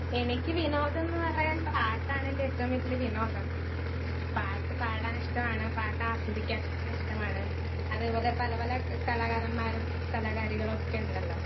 Speaker 1 എനിക്ക് വിനോദം ന്ന് പറയാൻ പാട്ടാണ് എൻ്റെ ഏറ്റവും വലിയ വിനോദം. പാട്ട് പാടാൻ ഇട്ടാണ് പാട്ട് ആസ്വദിക്കാൻ ഇഷ്ട്ടമാണ്.അതേപോലെ പല പല കലാകാരന്മാരും കലാകാരികളൊക്കെ ഉണ്ടലോ